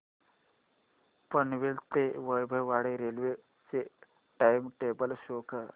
पनवेल ते वैभववाडी रेल्वे चे time table show करा